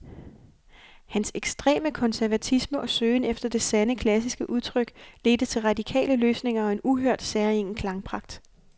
Hans ekstreme konservatisme og søgen efter det sande, klassiske udtryk ledte til radikale løsninger og en uhørt, særegen klangpragt.